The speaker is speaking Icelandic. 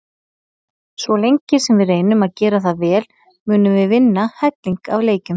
Svo lengi sem við reynum að gera það vel munum við vinna helling af leikjum.